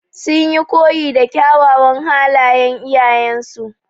Sun yi koyi da kyawawan halayan iyayen su.